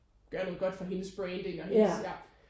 Gør noget godt for hendes branding og hendes ja